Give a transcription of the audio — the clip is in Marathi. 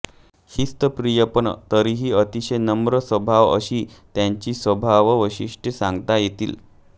शिस्तप्रिय पण तरीही अतिशय नम्र स्वभाव अशी त्यांची स्वभाव वैशिष्ट्ये सांगता येतील